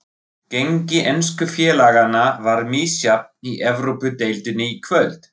Gengi ensku félaganna var misjafnt í Evrópudeildinni í kvöld.